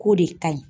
K'o de ka ɲi